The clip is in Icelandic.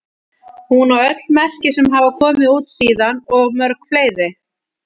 Hún á öll merki sem hafa komið út síðan og mörg fleiri.